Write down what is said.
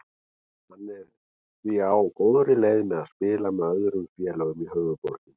Hann er því á góðri leið með að spila með öllum félögum í höfuðborginni.